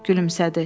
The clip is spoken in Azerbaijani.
Gülümsədi.